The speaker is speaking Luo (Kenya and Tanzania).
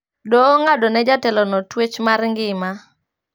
Doho ong`ado ne jatelo no tuech mar ngima